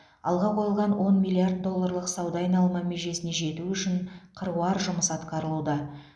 алға қойылған он миллиард долларлық сауда айналымы межесіне жету үшін қыруар жұмыс атқарылуда